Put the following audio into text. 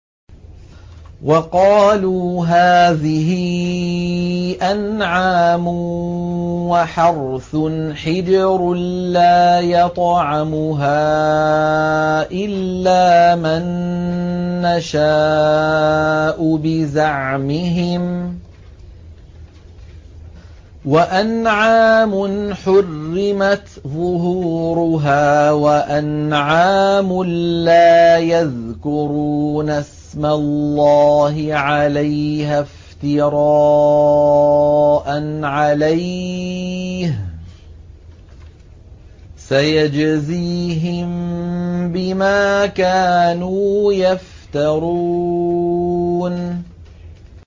وَقَالُوا هَٰذِهِ أَنْعَامٌ وَحَرْثٌ حِجْرٌ لَّا يَطْعَمُهَا إِلَّا مَن نَّشَاءُ بِزَعْمِهِمْ وَأَنْعَامٌ حُرِّمَتْ ظُهُورُهَا وَأَنْعَامٌ لَّا يَذْكُرُونَ اسْمَ اللَّهِ عَلَيْهَا افْتِرَاءً عَلَيْهِ ۚ سَيَجْزِيهِم بِمَا كَانُوا يَفْتَرُونَ